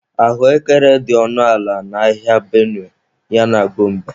Ahụekere dị ọnụ ala n'ahịa Benue ya na Gombe.